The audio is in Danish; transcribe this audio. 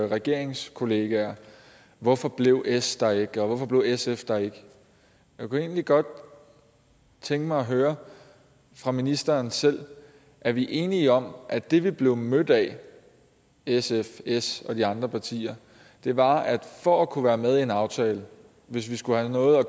regeringskollegaer hvorfor blev s der ikke og hvorfor blev sf der ikke jeg kunne egentlig godt tænke mig at høre fra ministeren selv er vi enige om at det vi blev mødt af sf s og de andre partier var at for at kunne være med i en aftale hvis vi skulle have noget at